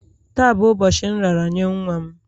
Taa bụ ụbọchị nraranye nwa m